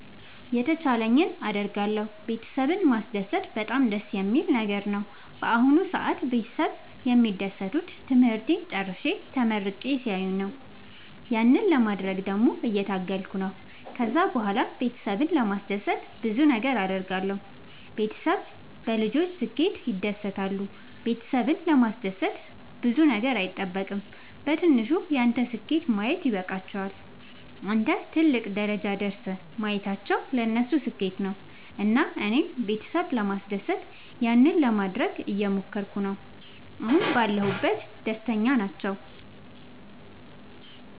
የተቻለኝን አደርጋለሁ ቤተሰብን ማስደሰት በጣም ደስ የሚል ነገር ነው። በአሁን ሰአት ቤተሰብ የሚደሰቱት ትምህርቴን ጨርሼ ተመርቄ ሲያዩኝ ያንን ለማድረግ ደግሞ እየታገልኩ ነው። ከዛ ብኋላም ቤተሰብን ለማስደሰት ብዙ ነገር አድርጋለሁ። ቤተሰብ በልጆች ስኬት ይደሰታሉ ቤተሰብን ለማስደሰት ብዙ ነገር አይጠበቅም በትንሹ ያንተን ስኬት ማየት ይበቃቸዋል። አንተን ትልቅ ደረጃ ደርሰህ ማየታቸው ለነሱ ስኬት ነው። እና እኔም ቤተሰብ ለማስደሰት ያንን ለማደረግ እየሞከርኩ ነው አሁን ባለሁበት ደስተኛ ናቸው።